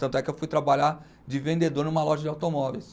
Tanto é que eu fui trabalhar de vendedor numa loja de automóveis.